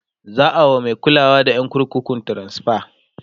za'a wa Mai kulawa da ƴan kurkukun transfa